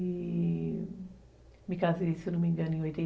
E... Me casei, se não me engano, em oitenta